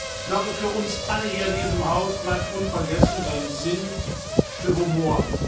stand. Ich glaube, für uns alle in diesem Haus bleibt unvergessen sein Sinn für